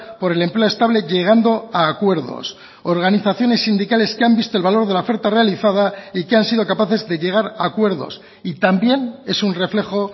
por el empleo estable llegando a acuerdos organizaciones sindicales que han visto el valor de la oferta realizada y que han sido capaces de llegar a acuerdos y también es un reflejo